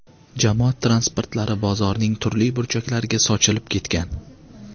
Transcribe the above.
Jamoat transportlari bozorning turli burchaklariga sochilib ketgan.